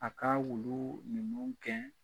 A ka wulu ninnu gɛn